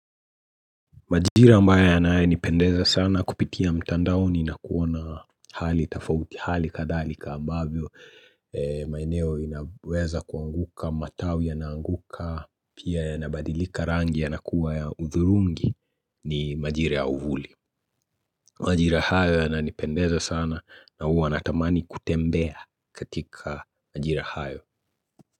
Majira ambaya ya nae nipendeza sana kupitia mtandao ni nakuona hali tafauti hali kadhalika ambavyo maeneo inaweza kuanguka matawi ya naanguka pia ya nabadilika rangi ya nakuwa ya uthurungi ni majira ya uvuli Majira hayo yana nipendeza sana na huu natamani kutembea katika majira hayo.